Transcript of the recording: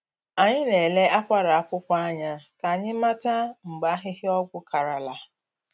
Anyị na-ele akwara akwụkwọ anya ka anyị mata mgbe ahịhịa ọgwụ karala.